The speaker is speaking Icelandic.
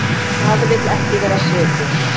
Það vill ekki vera svikið.